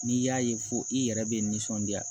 N'i y'a ye fo i yɛrɛ bɛ nisɔndiya